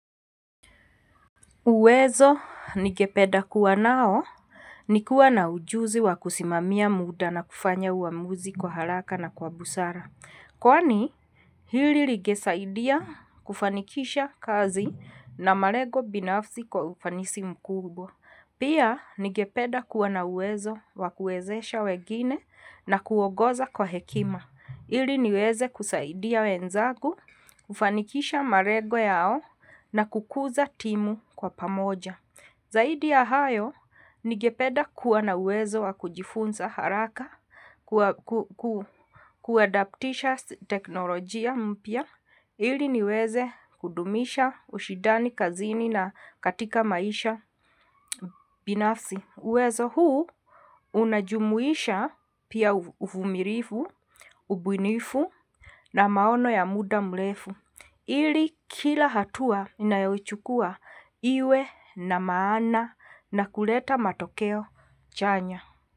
Uwezo nigepeda kuwa nao ni kuwa na ujuzi wa kusimamia muda na kufanya uamuzi kwa haraka na kwa busara. Kwani hili ligesaidia kufanikisha kazi na malego binafsi kwa ufanisi mkubwa. Pia nigepeda kuwa na uwezo wa kuwezesha wegine na kuogoza kwa hekima. Ili niweze kusaidia wenzagu, kufanikisha marego yao na kukuza timu kwa pamoja. Zaidi ya hayo, nigepeda kuwa na uwezo wa kujifunza haraka, kuadaptisha teknolojia mpya. Ili niweze kudumisha ushidani kazini na katika maisha binafsi. Uwezo huu unajumuisha pia uvumirifu, ubunifu na maono ya muda mlefu. Ili kila hatua ninayochukua iwe na maana na kuleta matokeo chanya.